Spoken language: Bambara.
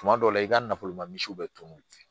Tuma dɔw la i ka nafolo ma misiw be tunun